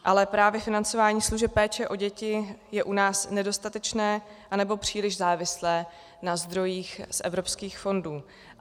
Ale právě financování služeb péče o děti je u nás nedostatečné, anebo příliš závislé na zdrojích z evropských fondů.